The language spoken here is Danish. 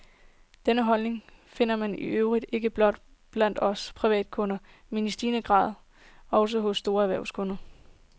Denne holdning finder man i øvrigt ikke blot blandt os privatkunder, men i stigende grad også hos store erhvervskunder.